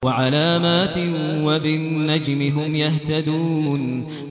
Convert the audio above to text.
وَعَلَامَاتٍ ۚ وَبِالنَّجْمِ هُمْ يَهْتَدُونَ